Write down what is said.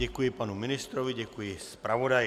Děkuji panu ministrovi, děkuji zpravodaji.